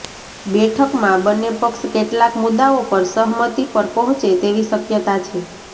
બેઠકમાં બંને પક્ષ કેટલાક મુદ્દાઓ પર સહમતિ પર પહોંચે તેવી શક્યતા છે